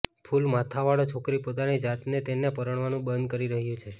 કૂલ માથાવાળો છોકરી પોતાની જાતને તેને પરણવાનું બધું કરી રહ્યું છે